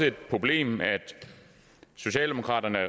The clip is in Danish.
et problem at socialdemokraterne og